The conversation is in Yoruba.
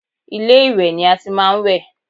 Ilé-ìwẹ̀ ni a ti máa ń wẹ̀